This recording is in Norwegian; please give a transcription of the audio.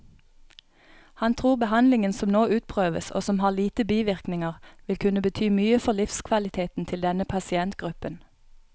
Han tror behandlingen som nå utprøves, og som har lite bivirkninger, vil kunne bety mye for livskvaliteten til denne pasientgruppen.